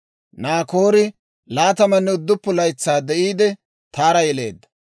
Naakoori 29 laytsaa de'iide, Taara yeleedda;